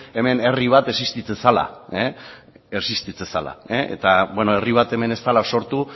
hemen herri bat existitzen zela eta beno herri bat hemen ez dela sortu